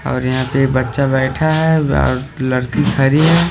और यहां पे बच्चा बैठा है और लड़की खड़ी है।